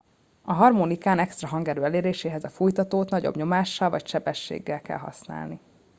a harmonikán extra hangerő eléréséhez a fújtatót nagyobb nyomással vagy sebességgel kell használni